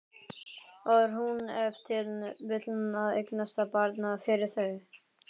Var hún ef til vill að eignast barn fyrir þau?